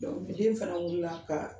ni den fana wulila kan